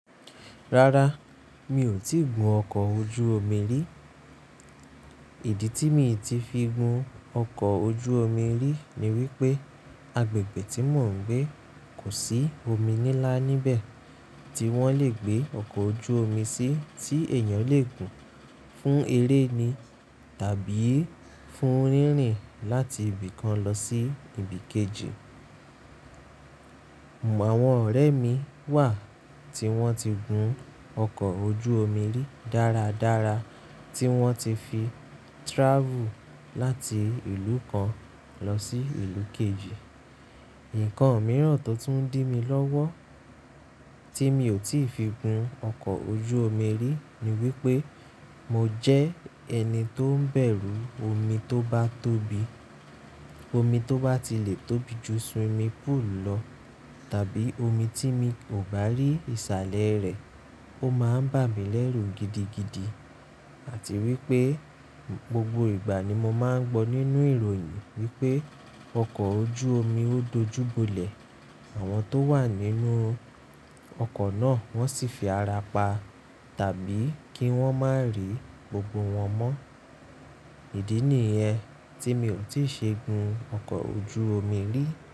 Rárá, mi ò tíì gun ọkọ̀ ojú omi rí. Ìdí tí mi ti fi gun ọkọ̀ ojú omi rí ni wípé agbègbè tí mò ń gbé kò sí omi nílá níbẹ̀ tí wọ́n lè gbé ọkọ̀ ojú omi sí tí èèyàn lè gùn fún eré ni tàbí fún rírin láti ibì kan lọ sí ibì kejì. Àwọn ọ̀rẹ́ mi wà tí wọ́n ti gun ọkọ̀ ojú omi rí dára dára, tí wọ́n ti fi travel láti ìlú kan lọ sí ìlú kejì. Ǹkan mìíràn tó tún ń dí mi lọ́wọ́ tí mi ò tí ì fi gun ọkọ̀ ojú omi rí ni wípé mo jẹ́ ẹni tó ń bẹ̀rù omi tó bá tóbi. Omi tó bá ti lè tóbi ju swimming pool lọ tàbí omi tí mi ò bá rí ìsàlẹ̀ rẹ̀, ó máa ń bà mí lẹ́rù gidigidi àti wípé gbogbo ìgbà ni mo máa ń gbọ́ nínú ìròyìn wípé ọkọ̀ ojú omi ó dojúbolẹ̀, àwọn tó wà nínú ọkọ̀ náà wọ́n sì fi ara pa tàbí kí wọ́n má rí gbogbo wọn mọ́. Ìdí nìyẹn tí mi ò tí ì ṣe gun ọkọ̀ ojú omi rí.